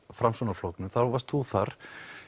Framsóknarflokknum þá varst þú þar